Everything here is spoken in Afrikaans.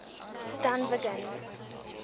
dunvegan